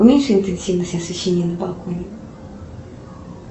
уменьши интенсивность освещения на балконе